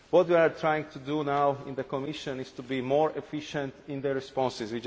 What we are trying to do now in the Commission is to be more efficient in terms of responses.